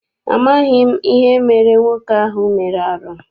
Amaghị m ihe emere nwoke ahụ mere arụ.